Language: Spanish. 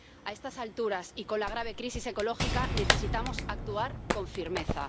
A estas alturas, y con la grave crisis ecológica, necesitamos actuar con firmeza.